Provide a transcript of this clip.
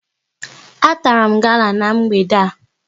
A tara m gala n'mgbede a